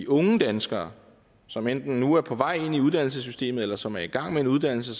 unge danskere som enten nu er på vej ind i uddannelsessystemet eller som er i gang med en uddannelse